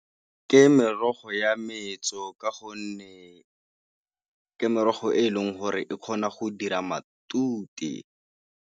Ke merogo ya metso ka gonne ke merogo e e leng gore e kgona go dira matute.